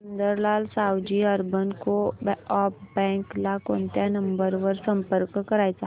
Sundarlal Savji urban co op bank ला कोणत्या number वर संपर्क करायचा